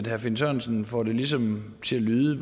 herre finn sørensen får det måske ligesom til at lyde